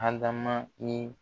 Adama ye